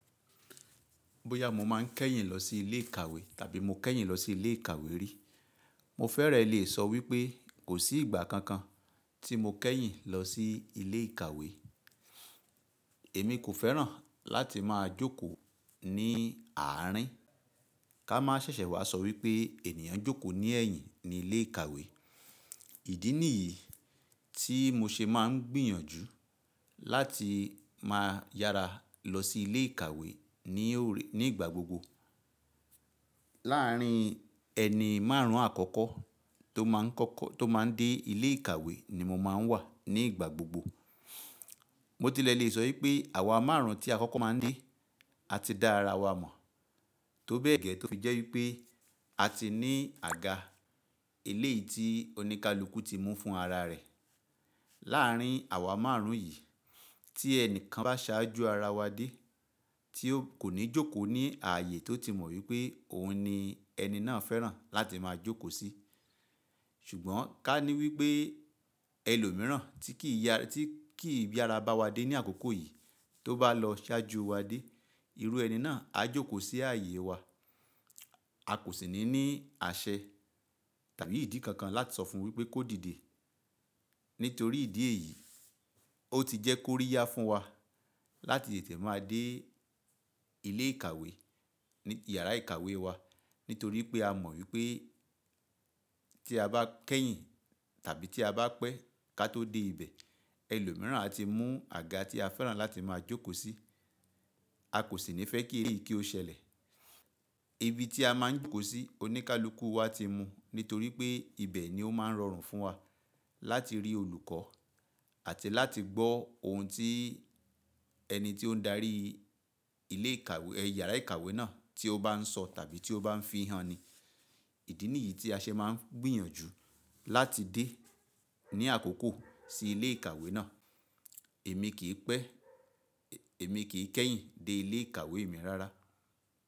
Bóyá mo máa kẹ́yìn lọsí ilé ìkàwé tàbí mo kẹ́yìn lọsí ilé ìkàwé rí, mo fẹ́rẹ lè sọ wípé kò sí ìgbà kankan tí mo kẹ́yìn lọsí ilé ìkàwé. Èmi kò fẹ́ràn láti máa jókòó ní àárín, ká má ṣẹ̀ṣẹ̀ wá sọ wípé ènìyàn jókòó ní ẹ̀yìn ní ilé ìkàwé. Ìdí nìyí tí mo ṣe máa ń gbìyànjú láti máa yára lọsí ilé ìkàwé ní òrè ní ìgbà gbogbo. Láarín ẹni márùn ún àkọ́kọ́ tó máa n kọ́kọ́ tó máa n dé ilé ìkàwé ni mo máa n wà ní ìgbà gbogbo. Mo tilẹ̀ lè sọ wípé àwa márùn ún tí a kọ́kọ́ má a n dé a ti da ara wa mọ̀, tó bẹ́ẹ̀ gẹ́ tó fi jẹ́ wípé a ti ní àga eléèyì tí oníkálukú ti mú fún ara rẹ̀. Láarín àwa márùn ún yìí tí ẹnìkan bá ṣáájú ara wa dé tí ó kò ní jókòó ní ààyè tó ti mọ̀ wípé òun ni ẹni náà fẹ́ràn láti máa jókòó sí. Ṣùgbọ́n ká ní wípé ẹlòmíràn tí kì í yára tí kì í yára bá wa dé ní àkókò yìí tó bá lọ ṣáájú wa dé, irú ẹni náà á jókòó sí ààyè wa. A kò sì ní ní àṣẹ tàbí ìdí kankan láti sọ fún wípé kó dìde. Nítorí ìdí èyí, ó ti jẹ́ kó rí yá fún wa láti tètè má a dé ilé ìkàwé ní yàrá ìkàwé wa. Nítorí pé a mọ̀ wípé tí a bá kẹ́yìn tàbí tí a bá pẹ́ ká tó dé ibẹ̀, ẹlòmíràn á ti mú àga tí a fẹ́ràn láti máa jókòó sí. A kò sì ní fẹ́ kí èyí kí ó ṣẹlẹ̀. Ibi tí a máa ń jókòó sí oníkálukú wa ti mu, nítorí pé ibẹ̀ ni ó máa ń rọrùn fún wa láti rí olùkọ́ àti láti gbọ́ ohun tí ẹni tí ó ń darí ilé ìkàwé ẹ yàrá ìkàwé náà tí ó bá ń sọ tàbí tí ó bá ń fihàn ni. Ìdí nìyí tí a ṣe máa ń gbìyànjú láti dé ní àkókò sí ilé ìkàwé náà. Èmi kì í pẹ́ èmi kì í kẹ́yìn dé ilé ìkàwé mi rárá.